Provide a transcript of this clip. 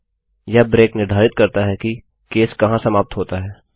यह ब्रेक निर्धारित करता है कि केस कहाँ समाप्त होता है